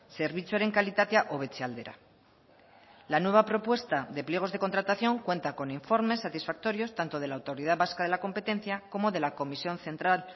zerbitzuaren kalitatea hobetze aldera la nueva propuesta de pliegos de contratación cuenta con informes satisfactorios tanto de la autoridad vasca de la competencia como de la comisión central